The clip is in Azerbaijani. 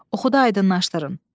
Oxuyub aydınlaşdırın.